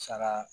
Saga